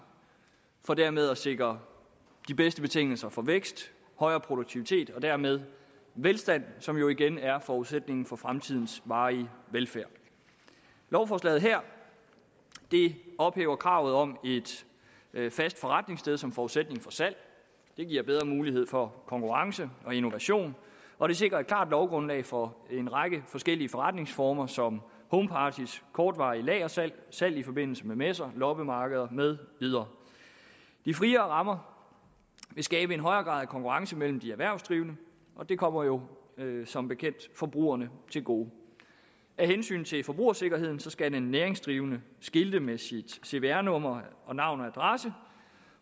for dermed at sikre de bedste betingelser for vækst højere produktivitet og dermed velstand som jo igen er forudsætningen for fremtidens varige velfærd lovforslaget her ophæver kravet om et fast forretningssted som forudsætning for salg det giver bedre mulighed for konkurrence og innovation og det sikrer et klart lovgrundlag for en række forskellige forretningsformer som homeparties kortvarige lagersalg salg i forbindelse med messer loppemarkeder med videre de friere rammer vil skabe en højere grad af konkurrence mellem de erhvervsdrivende og det kommer jo som bekendt forbrugerne til gode af hensyn til forbrugersikkerheden skal en næringsdrivende skilte med sit cvr nummer og navn og adresse